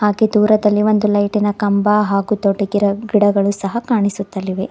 ಹಾಗೆ ದೂರದಲ್ಲಿ ಒಂದು ಲೈಟಿನ ಕಂಬ ಹಾಗು ದೊಡ್ಡ ಗಿರ ಗಿಡಗಳು ಸಹ ಕಾಣಿಸುತ್ತಲಿವೆ.